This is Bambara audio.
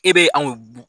E be anw b